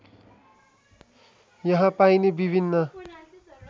यहाँ पाइने विभिन्न